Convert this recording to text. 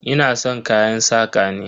Ina san kayan saƙa ne.